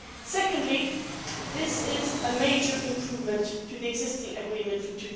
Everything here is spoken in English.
Secondly, this is a major improvement to the existing agreement from